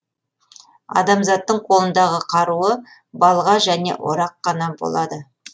адамзаттың қолындағы қаруы балға және орақ қана болады